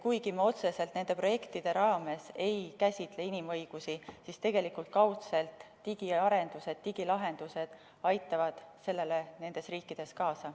Kuigi me nende projektide raames otseselt inimõigusi ei käsitle, aitavad digiarendused ja digilahendused nendes riikides kaudselt sellele ikkagi kaasa.